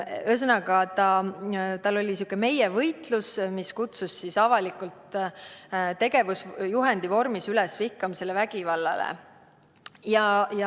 Ühesõnaga, tal oli käsil sihuke meie-võitlus, mis kutsus avalikult tegevusjuhendi vormis üles vihkamisele ja vägivallale.